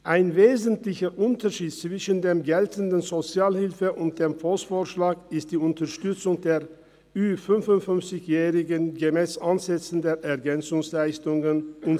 Ein wesentlicher Unterschied zwischen dem geltenden Gesetz über die öffentliche Sozialhilfe (Sozialhilfegesetz, SHG) und dem Volksvorschlag ist die Unterstützung der über 55-Jährigen nach Ansätzen der Ergänzungsleistungen (EL).